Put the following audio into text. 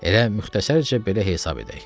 Elə müxtəsərcə belə hesab edək.